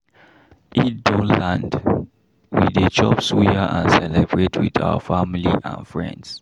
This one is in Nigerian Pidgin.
Eid don land, we dey chop suya and celebrate with our family and friends.